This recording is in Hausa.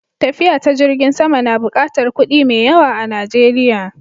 Tafiya ta jirgin sama na buƙatar kuɗi mai yawa a Najeriya.